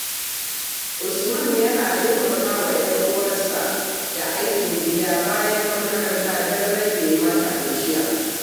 Usman yana taimaka wa 'yar uwarsa da aikin gida bayan makaranta don rage mata gajiya.